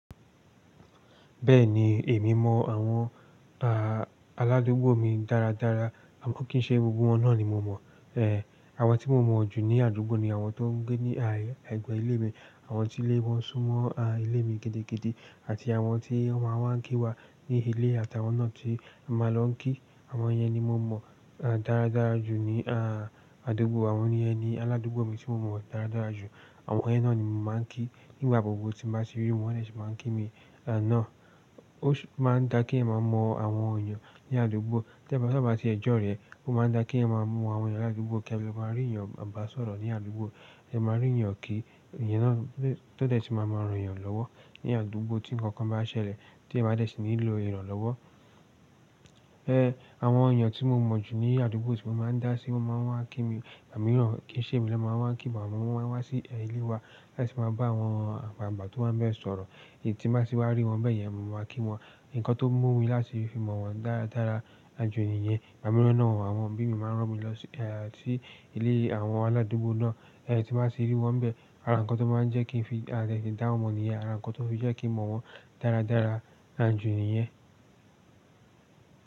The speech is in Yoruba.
Bẹ́ẹ̀ni, èmi mọ àwọn, ah, aládúgbò mi dáradára, àmọ́ kì í ṣe gbogbo wọ́n náà ni mo mọ̀. Eh, àwọn tí mo mọ̀ jù ní àdúgbò ni àwọn tó ń gbé ní, ah, ẹ̀gbẹ́ ilé mi, àwọn tí ilé wọn sún mọ́, ah, ilé mi gidi gidi àti àwọn tí ọmọ wọn máa ń kí wa ní ilé àtàwọn náà tí ẹ máa lọ kí. Àwọn yẹn ni mo mọ̀, ah, dáradára jù ní, ah, àdúgbò. Àwọn yẹn ni aládúgbò mi tí mo mọ̀ dáradára jù. Àwọn yẹn náà ni mo máa ń kí nígbà gbogbo tí bá tì rí wọn, wọ́n tẹ̀ sí máa ń kí mi. Àná, ó máa ń dá kí ẹ máa mọ àwọn èèyàn ní àdúgbò. Tẹ́ ba tí ẹ jọ́ rẹ, ó máa ń dá kí ẹ máa mọ àwọn èèyàn ní àdúgbò kí ẹ lè máa rí èèyàn maa bá sọ̀rọ̀ ní àdúgbò, ẹ máa rí èèyàn kí, èyẹn náà tẹ́ tẹ́ sì máa mọ èròyàn lọ́wọ́ ní àdúgbò tí ǹkankan bá ṣẹlẹ̀ tí ẹ máa tẹ́ ṣi nílo ìrànlọ́wọ́. Eh, àwọn èèyàn tí mo mọ̀ jù ní àdúgbò tí mo máa ń dá sí wọ́n máa ń wá kí mi. Ìgbà mìíràn kì í ṣe mi lọ máa wá ń kí wọn, àwọn ọmọ wọn máa wá sí ẹyin ilé wa láti wáa bá awọn àgbàlagbà tó n wa n bẹ sọ̀rọ̀. Èyí tí bá sì wá rí wọn bẹ́ẹ̀ yẹn, mo máa kí wọn. Ǹkan tó mú mi láti fi mọ̀ wọ́n dáradára jù níyẹn. Ìgbà mìíràn náà àwọn òbí mi máa ń rán mi lọ sí, ẹ, sí ilé àwọn aládúgbò náà. Ẹ tí bá sì rí wọn bẹ́ẹ̀, àrankọ́ tó máa ń jẹ́ kí n fi, àtete fi dá wọn mọ̀ níyẹn, àra nkọ́ tó fi jẹ́ kí mo mọ̀ wọ́n dáradára jù níyẹn.